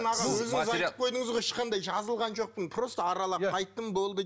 өзіңіз айтып қойдыңыз ғой ешқандай жазылған жоқпын просто аралап қайттым болды